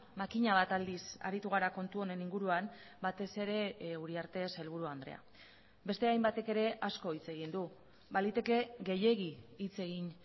makina bat aldiz aritu gara kontu honen inguruan batez ere uriarte sailburu andrea beste hainbatek ere asko hitz egin du baliteke gehiegi hitz egin